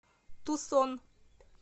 тусон